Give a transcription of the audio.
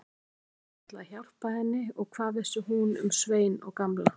Konan hafði bara ætlað að hjálpa henni og hvað vissi hún um Svein og Gamla.